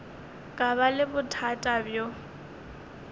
ka ba le bothata bjo